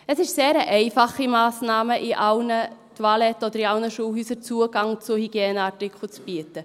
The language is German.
Es ist eine sehr einfache Massnahme, in allen Toiletten oder in allen Schulhäusern Zugang zu Hygieneartikeln zu bieten.